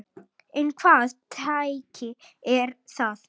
En hvaða tæki eru það?